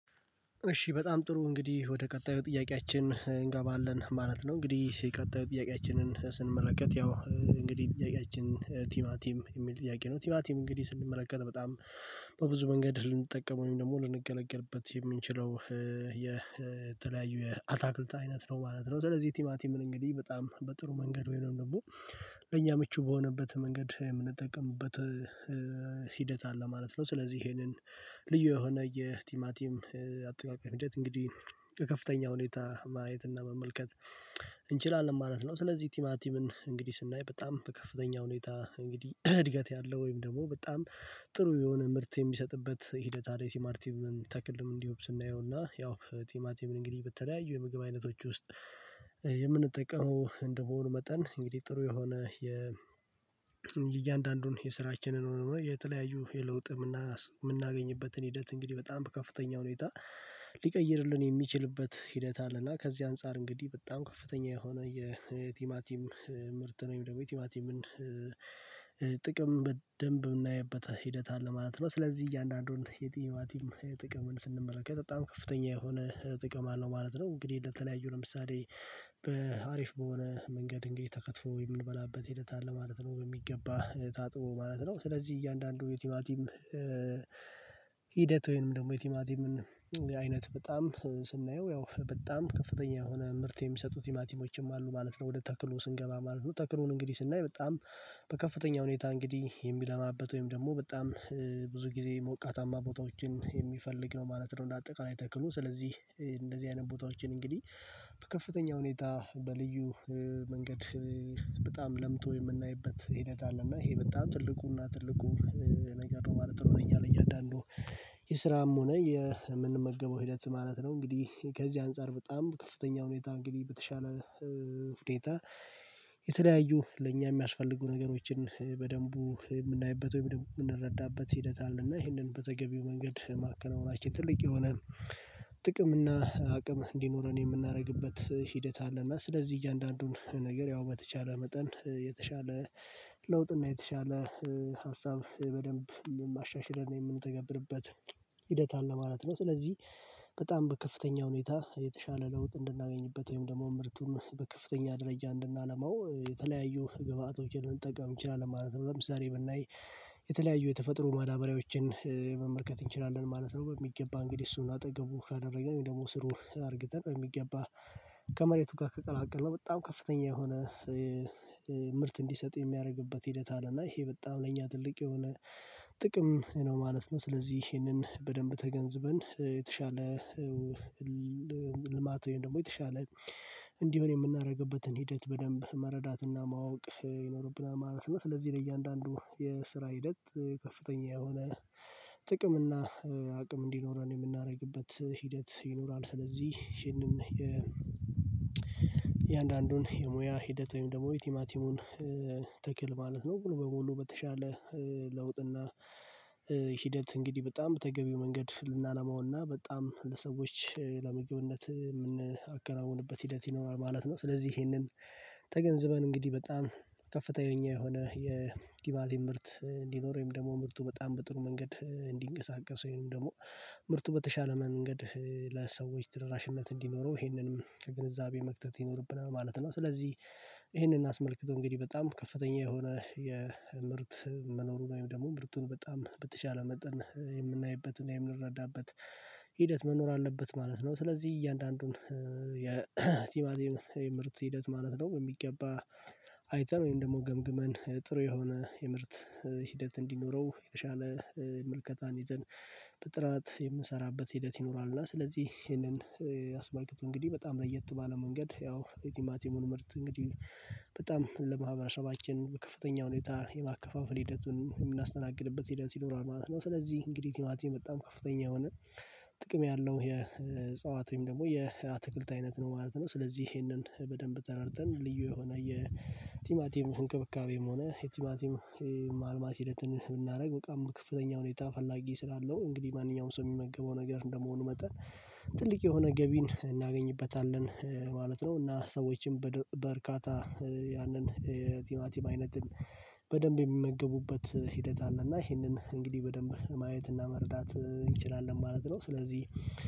እሺ በጣም ጥሩ እንግዲህ ወደ ቀጣዩ ጥያቄያችን እንገባለን ማለት ነው። እንግዲህ ቀጣዩ ጥያቄያችንን ስንመለከት ያው እንግዲህ ጥያቄያችን ቲማቲም የሚል ጥያቄ ነው። ቲማቲም እንግዲህ ስንመለከት በጣም በብዙ መንገድ ልንጠቀመው ደግሞ ልንገለገልበት የምንችለው የተለያዩ የአታክልት አይነት ነው ማለት ነው። ስለዚህ ቲማቲም እንግዲህ በጣም በጥሩ መንገድ ወይ ነው የምንለው ለኛ ምቹ በሆነበት መንገድ የምንጠቀምበት ሂደት አለ ማለት ነው። ስለዚህ ይሄንን ልዩ የሆነ የቲማቲም አጠቃቀም ሂደት እንግዲህ ከከፍተኛ ሁኔታ ማየት እና መመልከት እንችላለን ማለት ነው። ስለዚህ ቲማቲምን እንግዲህ ስናይ በጣም ከፍተኛ ሁኔታ እንግዲህ እድገት ያለው ወይም ደግሞ በጣም ጥሩ የሆነ ምርት የሚሰጥበት ሂደት አለ። ቲማር ቲምን ተክልም እንዲያውቅ ስናየውና ያው ቲማቲምን እንግዲህ በተለያዩ የምግብ አይነቶች ውስጥ የምንጠቀመው እንደመሆኑ መጠን እንግዲህ ጥሩ የሆነ። እያንዳንዱን የስራችንን ሆኖ የተለያዩ የለውጥ የምናገኝበትን ሂደት እንግዲህ በጣም ከፍተኛ ሁኔታ ሊቀይርልን የሚችልበት ሂደት አለና ከዚህ አንፃር እንግዲህ በጣም ከፍተኛ የሆነ የቲማቲም ምርት ወይም ደግሞ የቲማቲምን ጥቅም በደንብ የምናየበት ሂደት አለ ማለት ነው። ስለዚህ እያንዳንዱን የቲማቲም ጥቅም ስንመለከት በጣም ከፍተኛ የሆነ ጥቅም አለው ማለት ነው። እንግዲህ ለተለያዩ ለምሳሌ በአሪፍ በሆነ መንገድ እንግዲህ ተከትፎ የምንበላበት ሂደት አለ ማለት ነው። በሚገባ ታጥቦ ማለት ነው ስለዚህ እያንዳንዱ የቲማቲም ሂደት ወይንም ደግሞ የቲማቲምን አይነት በጣም ስናየው ያው በጣም ከፍተኛ የሆነ ምርት የሚሰጡት ቲማቲሞችም አሉ ማለት ነው። ወደ ተክሉ ስንገባ ማለት ነው ተክሉን እንግዲህ ስናይ በጣም በከፍተኛ ሁኔታ እንግዲህ የሚለማበት ወይም ደግሞ በጣም ብዙ ጊዜ ሞቃታማ ቦታዎችን የሚፈልግ ነው ማለት ነው። እንደ አጠቃላይ ተክሉ ስለዚህ እንደዚህ አይነት ቦታዎችን እንግዲህ በከፍተኛ ሁኔታ በልዩ መንገድ በጣም ለምቶ የምናይበት ሂደት አለ። እና ይሄ በጣም ትልቁና ትልቁ ነገር ነው ማለት ነው። እኛ ለእያንዳንዱ የስራም ሆነ የምንመግበው ሂደት ሀማለት ነው። እንግዲህ ከዚህ አንፃር በጣም ከፍተኛው ሁኔታ እንግዲህ በተሻለ ሁኔታ የተለያዩ ለእኛ የሚያስፈልጉ ነገሮችን በደንቡ የምናይበት ወይ የምንረዳበት ሂደት አለና ይህንን በተገቢው መንገድ ማከናወናችን ትልቅ የሆነ ጥቅም እና አቅም እንዲኖረን የምናደርግበት ሂደት አለ። አለና ስለዚህ እያንዳንዱን ነገር ያው በተቻለ መጠን የተሻለ ለውጥና የተሻለ ሀሳብ በደንብ የማሻሽለን የምንተገብርበት ሂደት አለ ማለት ነው። ስለዚህ በጣም ከፍተኛ ሁኔታ የተሻለ ለውጥ እንድናገኝበት ወይም ደግሞ ምርቱን በከፍተኛ ደረጃ እንድናለማው የተለያዩ ግብአቶችን ልንጠቀም እንችላለን ማለት ነው። ለምሳሌ ብናይ የተለያዩ የተፈጥሮ ማዳበሪያዎችን መመልከት እንችላለን ማለት ነው። በሚገባ እንግዲህ እሱን አጠገቡ ካደረግን ወይም ደግሞ ስሩ አድርግተን በሚገባ ከመሬቱ ጋር ከቀላቀልነው በጣም ከፍተኛ የሆነ ምርት እንዲሰጥ የሚያደርግበት ሂደት አለ። እና ይሄ በጣም ለኛ ትልቅ የሆነ ጥቅም ነው ማለት ነው። ስለዚህ ይሄንን በደንብ ተገንዝበን የተሻለ ልማት ወይም ደግሞ የተሻለ እንዲሆን የምናደርግበትን ሂደት በደንብ መረዳት እና ማወቅ ይኖርብናል ማለት ነው። ስለዚህ ለእያንዳንዱ የስራ ሂደት ከፍተኛ የሆነ ጥቅም እና አቅም እንዲኖረን የምናደርግበት ሂደት ይኖራል። ስለዚህ ይሄንን የእያንዳንዱን የሙያ ሂደት ወይም ደግሞ የቲማቲሙን ተክል ማለት ነው። ሙሉ በሙሉ በተሻለ ለውጥ እና ሂደት እንግዲህ በጣም በተገቢው መንገድ ልናለማውና በጣም ለሰዎች ለመግብነት የምናከናውንበት ሂደት ይኖራል ማለት ነው። ስለዚህ ይሄንን ተገንዝበን እንግዲህ በጣም ከፍተኛ የሆነ የ ቲማቲመሰ ምርት እንዲኖር ወይም ደግሞ ምርቱ በጣም በጥሩ መንገድ እንዲንቀሳቀስ ወይም ደግሞ ምርቱ በተሻለ መንገድ ለሰዎች ተደራሽነት እንዲኖረው ይሄንንም ከግንዛቤ መክተት ይኖርብናል ማለት ነው። ስለዚህ ይሄንን አስመልክቶ እንግዲህ በጣም ከፍተኛ የሆነ የምርት መኖሩ ነው ወይም ደግሞ ብርቱን በጣም በተቻለ መጠን የምናይበት እና የምንረዳበት ሂደት መኖር አለበት ማለት ነው። ስለዚህ እያንዳንዱን የቲማቲም የምርት ሂደት ማለት ነው በሚገባ አይተን ወይም ደግሞ ገምግመን ጥሩ የሆነ የምርት ሂደት እንዲኖረው የተሻለ ምልከታን ይዘን በጥራት የምንሰራበት ሂደት ይኖራልና። ስለዚህ ይሄንን ያስመልከቱ እንግዲህ በጣም ለየት ባለ መንገድ ያው የቲማቲሙን ምርት እንግዲህ በጣም ለማህበረሰባችን ከፍተኛ ሁኔታ የማከፋፈል ሂደቱን የምናስተናግድበት ሂደት ይኖራል ማለት ነው። ስለዚህ እንግዲህ ቲማቲም በጣም ከፍተኛ የሆነ ጥቅም ያለው የጽዋት ወይም ደግሞ የአትክልት አይነት ነው ማለት ነው። ስለዚህ ይሄንን በደንብ ተረድተን ልዩ የሆነ የቲማቲም እንክብካቤም ሆነ የቲማቲም ማልማት ሂደትን ብናደርግ በጣም ከፍተኛ ሁኔታ ፈላጊ ስላለው እንግዲህ ማንኛውም ሰው የሚመገበው ነገር እንደመሆኑ መጠን ጥልቅ የሆነ ገቢን እናገኝበታለን ማለት ነው። እና ሰዎችም በበርካታ ያንን የቲማቲም አይነት በደንብ የሚመገቡበት ሂደት አለና ይሄንን እንግዲህ በደንብ ማየትና መርዳት እንችላለን ማለት ነው። ስለዚህ